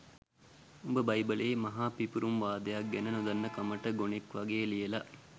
උඹ බයිබලයේ මහා පිපුපුරුම් වාදයක් ගැන නොදන්නකමට ගොනෙක්වගේ ලියල